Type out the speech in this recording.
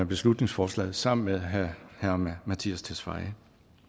beslutningsforslaget sammen med herre mattias tesfaye